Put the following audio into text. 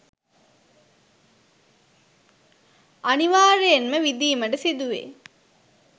අනිවාර්යයෙන්ම විඳීමට සිදුවේ.